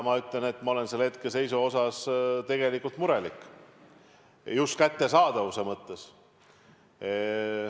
Ma olen selle hetkeseisu pärast tegelikult murelik, just kättesaadavuse mõttes.